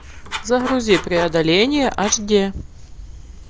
загрузи преодоление аш ди